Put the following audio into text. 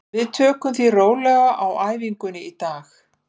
Við tökum því rólega á æfingunni í dag.